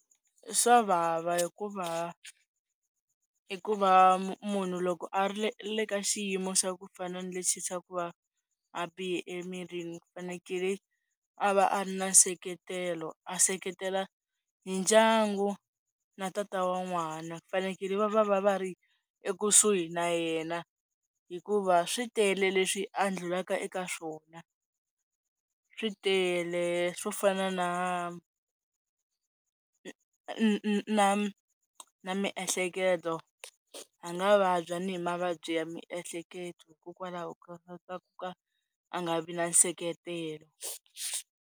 Swa vava hikuva i ku va munhu loko a ri le le ka xiyimo xa ku fana na lexi xa ku va a bihe emirini ku fanekele a va a ri na nseketelo a seketela hi ndyangu na tata wa n'wana fanekele va va va va ri ekusuhi na yena hikuva swi tele leswi a ndlulaka eka swona, swi tele swo fana na na na miehleketo a nga vabya ni hi mavabyi ya miehleketo hikokwalaho ka ku ka a nga vi na nseketelo.